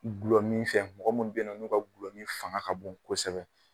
Gulɔmin fɛ mɔgɔ minnu bɛ ye nɔ n'u ka gulɔmin fanga ka bon kosɛbɛ.